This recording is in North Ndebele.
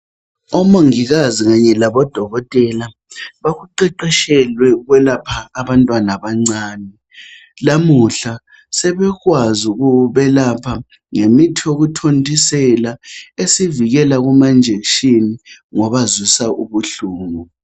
Omongikazi kanye labodokotela bakuqeqetshelwe ukwelapha abantwana abancani lamuhla sebekwazi ukubelapha ngemithi yokuthontisela esivikela kumanjekitshini ngobazwisa ubuhlungu.